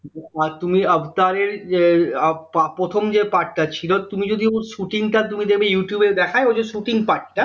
হয় তুমি আফটাররের যে আহ প্রথম যে part টা ছিল তুমি যদি ওর shotting টা তুমি দেখবে ইউটউব এ দেখাই ওই যে shotting part টা